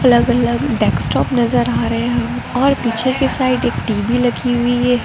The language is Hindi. अलग अलग डेस्कटॉप नजर आ रहे हैं और पीछे के साइड एक टी_वी लगी हुई है।